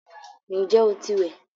Ǹjẹ́ o ti wẹ̀?